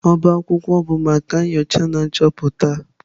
Ọbá akwụkwọ bụ maka nyocha na nchọpụta.